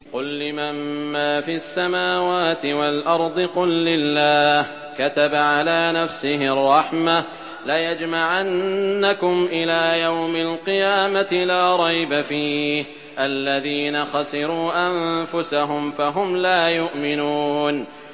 قُل لِّمَن مَّا فِي السَّمَاوَاتِ وَالْأَرْضِ ۖ قُل لِّلَّهِ ۚ كَتَبَ عَلَىٰ نَفْسِهِ الرَّحْمَةَ ۚ لَيَجْمَعَنَّكُمْ إِلَىٰ يَوْمِ الْقِيَامَةِ لَا رَيْبَ فِيهِ ۚ الَّذِينَ خَسِرُوا أَنفُسَهُمْ فَهُمْ لَا يُؤْمِنُونَ